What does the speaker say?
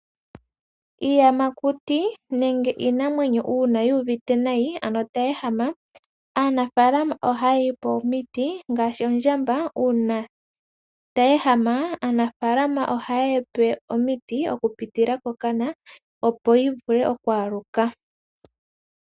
Iiyamakuti nenge iinamwenyo uuna yu uvite nayi, ano tayi ehama, aanafaalama ohaye yi pe omiti, ngaashi ondjamba, uuna tayi ehama, aanafalama ohayeyi pe omiti, okupitila kokana, opo yi vule oku aluka.